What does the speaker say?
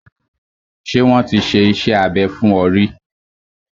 Ṣé wọ́n ti ṣe iṣẹ́ abẹ fún ọ ríí?